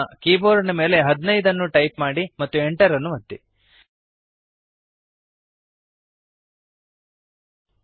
ನಿಮ್ಮ ಕೀಬೋರ್ಡ್ ಮೇಲೆ 15 ಅನ್ನು ಟೈಪ್ ಮಾಡಿರಿ ಮತ್ತು Enter ಅನ್ನು ಒತ್ತಿರಿ